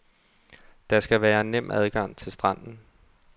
Der skal være nem adgang til stranden.